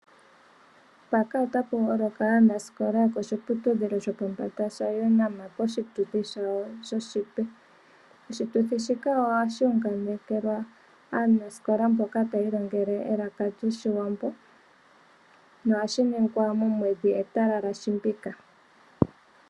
Mpaka ota pu holoka aanasikola yokoshiputudhilo shopombanda shaUNAM poshituthi shawo shoshipe. Oshituthi shika ohashi wunganekelwa aanasikola mboka ta yiilongele elaka lyoshiwambo no ha shi ningwa momwedhi etalala shimbika.